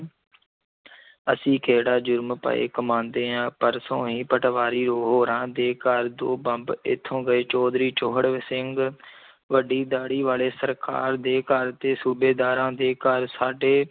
ਅਸੀਂ ਕਿਹੜਾ ਜ਼ੁਰਮ ਪਏ ਕਮਾਉਂਦੇ ਹਾਂ ਪਰਸੋਂ ਹੀ ਪਟਵਾਰੀ ਹੋਰਾਂ ਦੇ ਘਰ ਦੋ ਬੰਬ ਇੱਥੋਂ ਗਏ, ਚੌਧਰੀ ਚੋਹੜ ਸਿੰਘ ਵੱਡੀ ਦਾੜੀ ਵਾਲੇ ਸਰਕਾਰ ਦੇ ਘਰ ਦੇ ਸੂਬੇਦਾਰਾਂ ਦੇ ਘਰ ਸਾਡੇ